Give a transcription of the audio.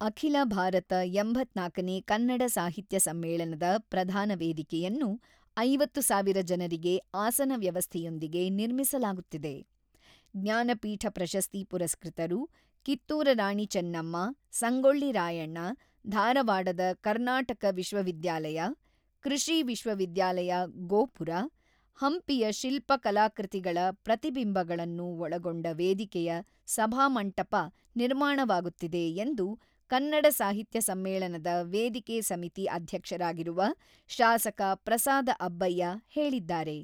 ಅಖಿಲ ಭಾರತ ಎಂಬತ್ತ್ನಾಲ್ಕು ನೇ ಕನ್ನಡ ಸಾಹಿತ್ಯ ಸಮ್ಮೇಳನದ ಪ್ರಧಾನ ವೇದಿಕೆಯನ್ನು ಐವತ್ತು ಸಾವಿರ ಜನರಿಗೆ ಆಸನ ವ್ಯವಸ್ಥೆಯೊಂದಿಗೆ ನಿರ್ಮಿಸಲಾಗುತ್ತಿದೆ: ಜ್ಞಾನಪೀಠ ಪ್ರಶಸ್ತಿ ಪುರಸ್ಕೃತರು, ಕಿತ್ತೂರ ರಾಣಿ ಚೆನ್ನಮ್ಮ, ಸಂಗೊಳ್ಳಿ ರಾಯಣ್ಣ, ಧಾರವಾಡದ ಕರ್ನಾಟಕ ವಿಶ್ವವಿದ್ಯಾಲಯ, ಕೃಷಿ ವಿಶ್ವವಿದ್ಯಾಲಯ ಗೋಪುರ, ಹಂಪಿಯ ಶಿಲ್ಪಕಲಾಕೃತಿಗಳ ಪ್ರತಿಬಿಂಬಗಳನ್ನು ಒಳಗೊಂಡ ವೇದಿಕೆಯ ಸಭಾಮಂಟಪ ನಿರ್ಮಾಣವಾಗುತ್ತಿದೆ ಎಂದು ಕನ್ನಡ ಸಾಹಿತ್ಯ ಸಮ್ಮೇಳನದ ವೇದಿಕೆ ಸಮಿತಿ ಅಧ್ಯಕ್ಷರಾಗಿರುವ, ಶಾಸಕ ಪ್ರಸಾದ ಅಬ್ಬಯ್ಯ ಹೇಳಿದ್ದಾರೆ.